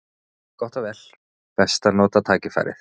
Gott og vel: best að nota tækifærið.